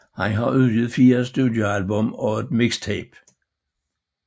Han har udgivet 4 studioalbum og et mixtape